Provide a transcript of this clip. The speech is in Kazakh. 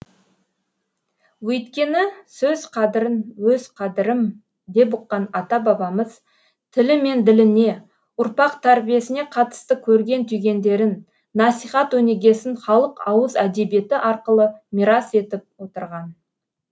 өйткені сөз қадірін өз қадірім деп ұққан ата бабамыз тілі мен діліне ұрпақ тәрбиесіне қатысты көрген түйгендерін насихат өнегесін халық ауыз әдебиеті арқылы мирас етіп отырған